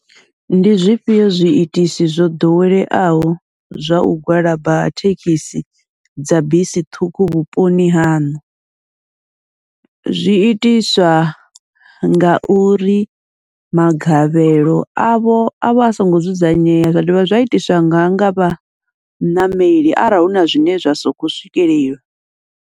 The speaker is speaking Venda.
Ndi zwifhio zwi itisi zwo ḓoweleaho zwa u gwalaba ha thekhisi dza bisi ṱhukhu vhuponi haṋu, zwi itiswa ngauri magavhelo avho avha a songo dzudzanyeya, zwa dovha zwa itiswa nanga vha ṋameli arali huna zwine zwa soko swikelela.